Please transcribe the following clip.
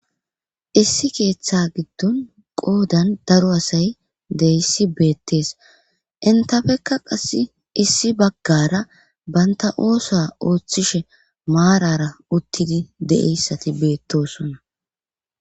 issi keeththa giddon qoodan daro asay deyssi beettees intafekka qasse issi baggara banta oosa ooththishe maarara uttidi de7eyssati beettosonna